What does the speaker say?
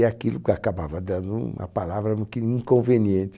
E aquilo que acabava dando uma palavra um pouquinho inconveniente.